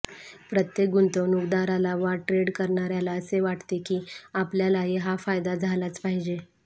प्रत्येक गुंतवणूकदाराला वा ट्रेड करणार्याला असे वाटते की आपल्यालाही हा फायदा झालाच पाहिजे